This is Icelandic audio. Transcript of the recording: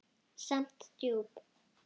Samt djúp.